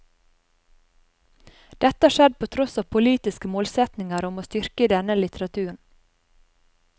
Dette har skjedd på tross av politiske målsetninger om å styrke denne litteraturen.